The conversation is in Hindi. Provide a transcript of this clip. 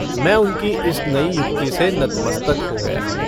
मैं उनकी इस नई युक्ति से नतमस्तक हो गया।